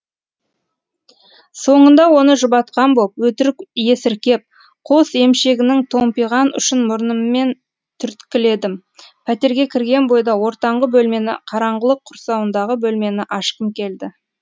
соңында оны жұбатқан боп өтірік есіркеп қос емшегінің томпиған ұшын мұрныммен түрткіледім пәтерге кірген бойда ортаңғы бөлмені қараңғылық құрсауындағы бөлмені ашқым келді